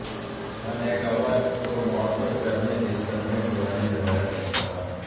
خانہ کعبہ کو معطر کرنے کی صدیوں پرانی روایت برقرار